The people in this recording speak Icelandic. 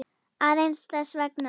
Aðeins þess vegna.